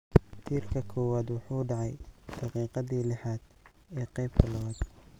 Tiirka koowaad wuxuu dhacay daqiiqaddii lixaad ee qaybta labaad.